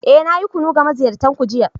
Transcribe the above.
Eh, na yi kunu ga maziyartan ku jiya.